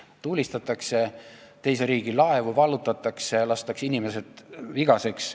Tulistatakse teise riigi laevu, vallutatakse need ja lastakse inimesed vigaseks.